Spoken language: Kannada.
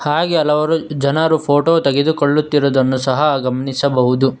ಹಾಗೆ ಹಲವಾರು ಜನರು ಫೋಟೋ ತೆಗೆದುಕೊಳ್ಳುತ್ತಿರುವುದನ್ನು ಸಹ ಗಮನಿಸಬಹುದು.